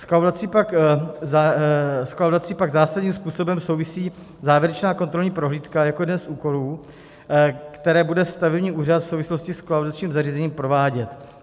S kolaudací pak zásadním způsobem souvisí závěrečná kontrolní prohlídka jako jeden z úkolů, které bude stavební úřad v souvislosti s kolaudačním zařízením provádět.